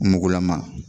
Mugulama